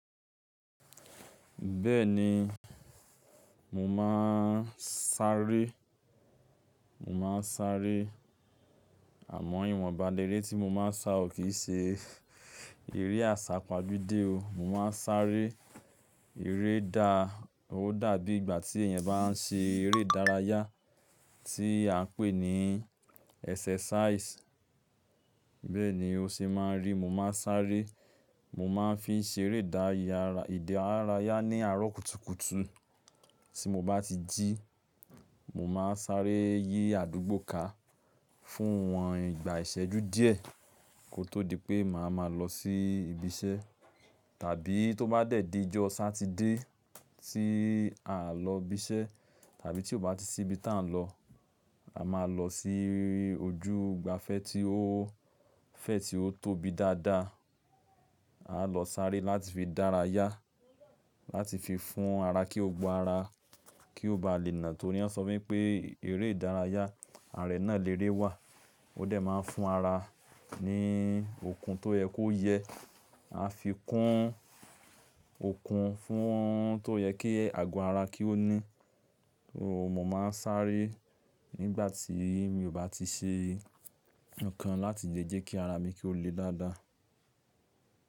Bẹ́ẹ̀ni, mò ḿá sáré, mò ḿá sáré àmọ́ ìwọ̀nba léré tí mo máa ń sá o kì í ṣe eré àsápajúdé o. Mò máa ń sáré, eré dá-- ó dàbí ìgbà tí èèyàn bá ń ṣe eré ìdárayá tí a ń pè ní exercise. Bẹ́ẹ̀ ni ó ṣe máa ń rí. Mò máa ń sáré, mò máa ń fi ń ṣe eré ìdárayá ní àárọ̀ kùtùkùtù. Tí mo bá ti jí, mò máa sáré yí àdúgbò ká fún wọn ìgbà ìṣẹ́jú díẹ̀ kó tó di pé màá ma lọ sí ibi iṣẹ́. Tàbí tó bá dẹ̀dí ẹjọ́ Saturday tí à ń lọ ibi iṣẹ́, tàbí tí ó bá ti sí ibi tí à ń lọ, a máa lọ sí ojú igbàfẹ́ tí ó-- fẹ̀ tí ó tóbi dáadáa. A lọ sáré láti fi dárayá, láti fi fún ara kí ó gbo ara kí ó ba lè nà. Torí wọ́n sọ pé eré ìdárayá ààrẹ náà léré wa, ó dà máa ń fún ara ní okun tó yẹ kó yẹ. A fi kún okun fún to yẹ kí àgọ́ ara kí ó ní. Mò máa ń sáré nígbà tí mi ò bá ti ṣe nǹkan láti jẹ́jẹ́ kí ara mi kí ó le dáadáa.